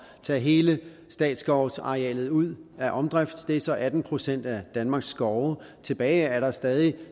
tage hele statsskovsarealet ud af omdrift det er så atten procent af danmarks skove tilbage er der stadig